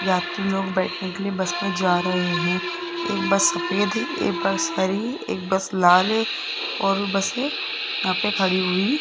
यात्री लोग बैठने के लिए बस मे जा रहे है एक बस सफेद है एक बस हरी एक बस लाल है और बसे यहां पे खड़ी हुई --